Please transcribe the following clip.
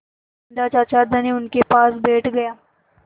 बिन्दा चाचा धनी उनके पास बैठ गया